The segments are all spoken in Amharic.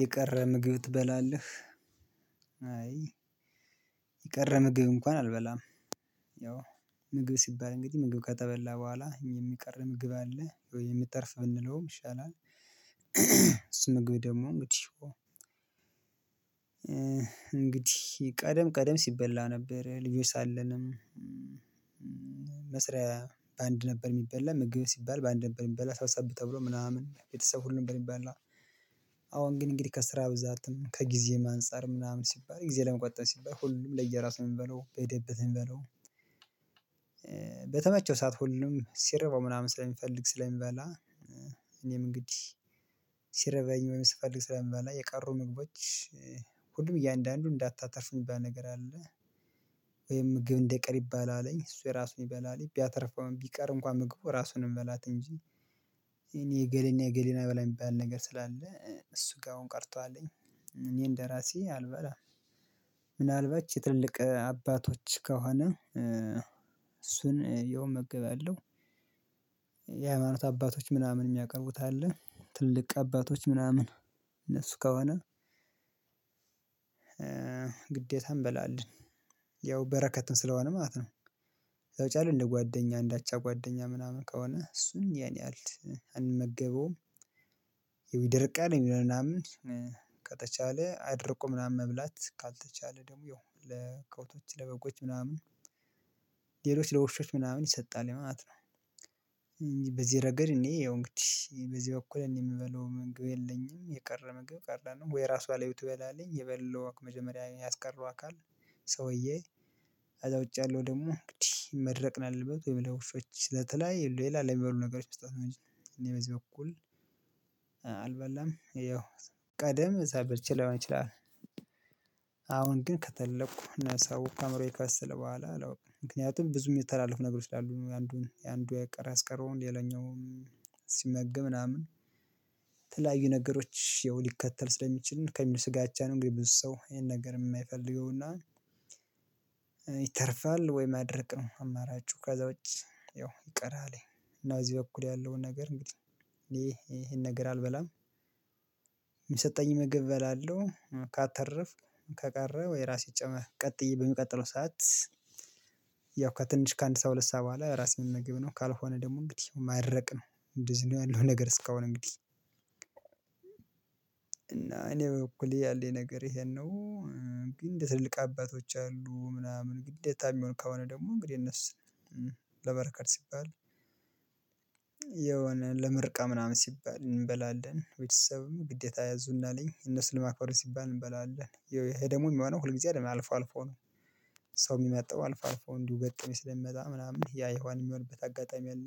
የቀረ ምግብ ትበላለህ? አይ የቀረ ምግብ እንኳን አልበላም ያው ምግብ ሲባል እንግዲህ ምግብ ከተበላ በኋላ የሚቀር ምግብ አለ ወይም የሚተርፍ ብንለውም ይሻላል እእ እሱ ምግብ ደግሞ መጥፎ ነው እንግዲህ ቀደም ቀደም ሲበላ ነበር ልጆች ሳለንም እ መስሪያ በአንድ ነበር የሚበላ ምግብ ሲባል በአንድ ነበር የሚበላ ሰብሰብ ተብሎ ምናምን ቤተሰብ ሁሉ ነበር የሚበላው። አሁን ግን እንግዲህ ከስራ ብዛትም ከጊዜም አንፃር ምናምን ሲባል ጊዜ ለመቆጠብ ሲባል ሁሉም ለየራሱ ነው የሚበላው በሄደበት ነው የሚባለው። በተመቸው ሰዓት ሁሉንም ሲርበው ምናምን ስለሚፈልግ ስለሚበላ እ እኔም እንግዲህ ሲርበኝ ወይም ስፈልግ ስለምበላ የቀሩ ምግቦች ሁሉም እያንዳንዱን እንዳታተርፍ የሚባል ነገር አለ ወይም ምግብ እንዳይቀር ይባላል እሱ የራሱን ይበላል ቢያተርፈው ወይም ቢቀር እንኳን ምግቡን ራሱ ነው የሚበላት እንጂ ይሄ የእገሌ እና የእገሌ ነው ና ብላ የሚባል ነገር ስላለ እሱ ጋር አሁን ቀርቶዓል እኔን ደራሴ አልበላም። ምናልባት ትልቅ አባቶች ከሆነ እ እሱን ያው እመገባለሁ። የሃይማኖት አባቶች ምናምን የሚያቀርቡት አለ ትልልቅ አባቶች ምናምን የነሱ ከሆነ ግዴታ እንበላለን ያው በረከትም ስለሆነ ማለት ነው ከቻልን እንደ ጓደኛ እንዳቻ ጓደኛ ምናምን ከሆነ እሱን ያን ያህል እ አንመገበውም ያው ይደርቃል የሚለውን አምነን ከተቻለ አድርቆ ምናምን መብላት ካልተቻለ ደግሞ ያው ለከብቶች ለበጎች ምናምን ሌሎች ለውሾች ምናምን ይሰጣል ማለት ነው። እኔ ያው እንግዲህ በዚህ በኩል እኔ የምበላው ምግብ የለኝም የቀረ ምግብ ቀረ ነው ወይ ራሷ ላይ ትበላለኝ የበላው መጀመሪያ ያስቀረው አካል፣ ሰውዬ ከዛ ውጭ ያለው ደግሞ እንግዲህ መድረቅ ነው ያለበት ወይም ለ ውሾች ለተለያዩ ሌላ ለሚበሉ ነገሮች መስጠት ነው እኔ በዚህ በኩል እ አልበላም ያው ቀደም ሳላቅ በልቼ ሊሆን ይችላል አሁን ግን ከተለቅኩ፣ ነብስ ካወኩ፣ አምሮዬ ከበሰለ በኋላ አላውቅም ምክንያቱም ብዙ የሚተላለፉ ነገሮች ስላሉ ነው ያንዱን አንዱ የቀረ ያስቀረውን ሌላኛው ሲመገብ ምናምን ተለያዩ ነገሮች ያው ሊከተል ስለሚችል ከሚል ስጋቻ ነው እንግዲህ ብዙ ሰው ይሄን ነገር የማይፈልገውና እ ይተርፋል ወይ ማድረቅ ነው አማራጩ ከዛ ውጪ ያው ይቀራል እና እዚህ በኩል ያለውን ነገር እንግዲህ እኔ እ ይሄን ነገር አልበላም የሚሰጠኝን ምግብ እበላለሁ ካተረፍኩ ከቀረ ወይ እራሴ ጨመ ቀጥዬ በሚቀጥለው ሰዓት ያው ከትንሽ ከአንድ ሰዓት ከ ሁለት ሰዓት በኋላ የራሴን ነምግብ ነው ካልሆነ ደግሞ እንግዲህ ማድረቅ ነው እንደዚህ ነው ያለው ነገር እስካሁን እንግዲህ። እና እኔ በበኩሌ ያለኝ ነገር ይሄን ነው። እ ግን እንደ ትልልቅ አባቶች አሉ ምናምን ግደታ የሚሆን ከሆነ ደግሞ እንግዲህ የነሱ እ ለበረከት ሲባል የሆነ ለምርቃ ምናምን ሲባል እንበላለን ቤተሰብም ግዴታ ያዙናል። እነሱን ለማክበር ሲባል እንበላለን ያው ይሄ ደግሞ የሚሆነው ሁልጊዜ አይደለም አልፎ አልፎ ነው። ሰው የሚመጣው አልፎ አልፎ እንዲው ገጠመኝ ስለሚመጣ ምናምን ያ የሄዋን የሚሆንበት አጋጣሚ አለ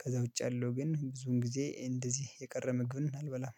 ከዛ ውጪ ያለው ግን ብዙን ጊዜ እንደዚህ የቀረ ምግብን አልበላም።